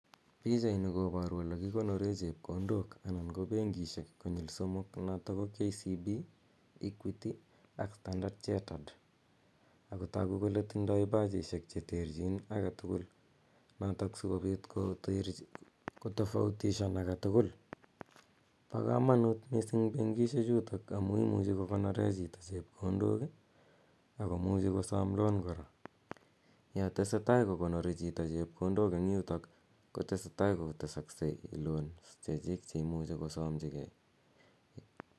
Pichaini koparu ole kikonore chepkondok anan ko benkishek konyil somok notok ko KCB, Equity ak standard chartered sko tagu kole tindai pachishek che terchin age tugul notok si kopit kotofautishan age tugul. Pa kamanut missing' benkishechutok aku imuchi kokonore chito chepkondok ak komuchi kosam loan kora. Ya tese tai ko konori chito chepkondok en yutok ko tese ko tesakse loans che chik che imuchi kosamchigei.